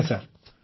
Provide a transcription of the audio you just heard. ଆଜ୍ଞା ସାର୍